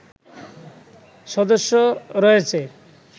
সদস্য রয়েছে